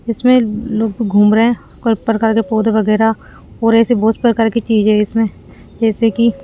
इसमें लोग घूम रहे हैं कोई प्रकार के पौधे वगैरा और ऐसे बहोत प्रकार की चीज है इसमें जैसे की--